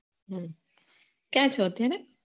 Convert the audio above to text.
કયા છો અત્યારે